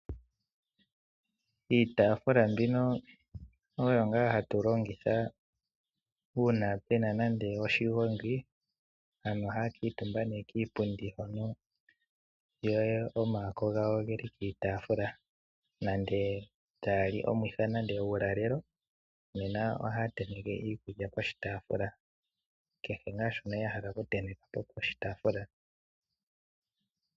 Iitaaafula mbino oyo ngaa hatu longitha uuna pu na nando oshigongi. Aantu ohaya kuutumba kiipundi yo omaako gawo oge li piitaafula, nenge taya li omwiha nenge uulalelo, nena ohaya tenteke iikulya poshitaafula. Kehe ngaa shoka ya hala okuntenteka po poshitaafula.